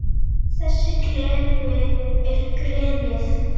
Þessi klefi er grenið.